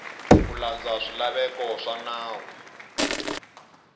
ku landza swilaveko swa nawu